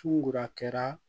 Sugoro a kɛra